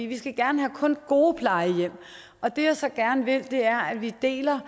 vi skal gerne kun gode plejehjem og det jeg så gerne vil er at vi deler